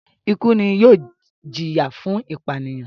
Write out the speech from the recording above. ikú ni yóò ìjìyà fún ìpànìyàn.